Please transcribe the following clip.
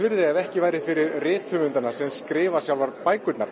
ef ekki væri fyrir rithöfundana sem skrifa sjálfar bækurnar